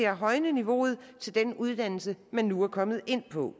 at højne niveauet til den uddannelse man nu er kommet ind på